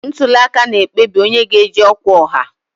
Ntuli aka na-ekpebi onye ga-eji ọkwa ọha.